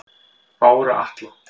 Bára Atla